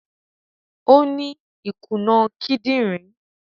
Ọ ni ikunà kìdìnrin.